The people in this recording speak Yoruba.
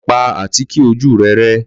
Lọ pa àtíkè ojú rẹ rẹ́.